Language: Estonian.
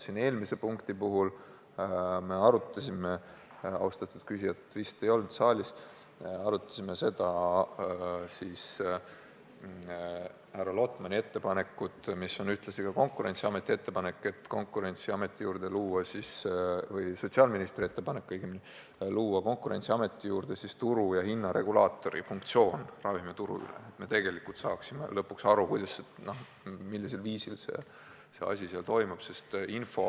Eelmise päevakorrapunkti puhul me arutasime – austatud küsijat vist ei olnud saalis – härra Lotmani ettepanekut, mis on ühtlasi ka Konkurentsiameti ettepanek või õigemini sotsiaalministri ettepanek, anda Konkurentsiametile ka ravimituru turu- ja hinnaregulaatori funktsioon, et me tegelikult saaksime lõpuks aru, millisel viisil asjad seal toimuvad.